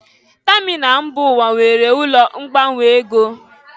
Tamịnal mba ụwa nwere ụlọ ngbanwe ego.